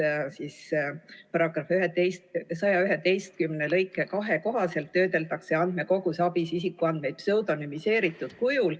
... eelnõu kavandatud § 111 lõike 2 kohaselt töödeldakse andmekogus ABIS isikuandmeid pseudonümiseeritud kujul ...